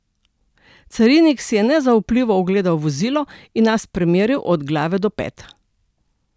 Carinik si je nezaupljivo ogledal vozilo in nas premeril od glave do pet.